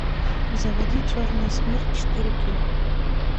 заводи черная смерть четыре кей